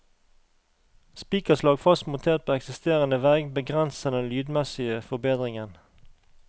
Spikerslag fast montert på eksisterende vegg begrenser den lydmessige forbedringen.